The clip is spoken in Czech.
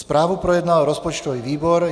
Zprávu projednal rozpočtový výbor.